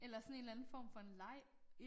Eller sådan en eller anden form for en leg